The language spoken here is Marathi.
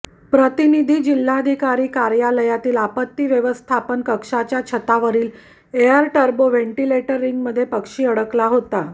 प्रतिनिधी जिल्हाधिकारी कार्यालयातील आपत्ती व्यवस्थापन कक्षाच्या छतावरील एअर टर्बो व्हेंटिलेटर रींगमध्ये पक्षी अडकला होता